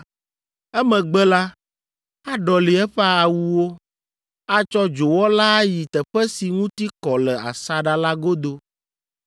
Emegbe la, aɖɔli eƒe awuwo, atsɔ dzowɔ la ayi teƒe si ŋuti kɔ le asaɖa la godo.